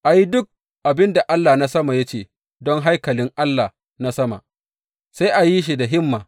A yi duk abin da Allah na sama ya ce don haikalin Allah na sama, sai a yi shi da himma.